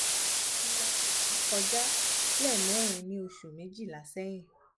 mo ti la eyi koja lemerin ni osu mejila sehin